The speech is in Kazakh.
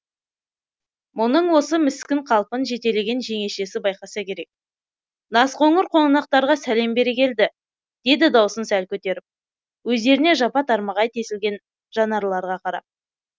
мұның осы міскін қалпын жетелеген жеңешесі байқаса керек назқоңыр қонақтарға сәлем бере келді деді даусын сәл көтеріп өздеріне жапа тармағай тесілген жанарларға қарап